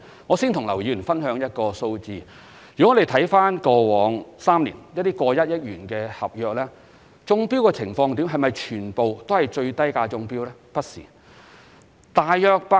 我先與劉議員分享一個數字：以過往3年超過1億元的合約而言，是否全皆由最低價標書中標呢？